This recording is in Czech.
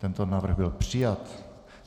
Tento návrh byl přijat.